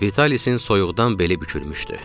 Vitalisin soyuqdan beli bükülmüşdü.